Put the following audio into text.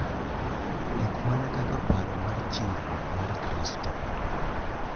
Ok mana kaka paro mar chiwruok mar Kristo